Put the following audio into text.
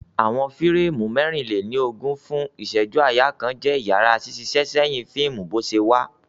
Awọn fireemu 24 fun iṣẹju-aaya kan jẹ iyara ṣiṣiṣẹsẹhin fiimu boṣewa.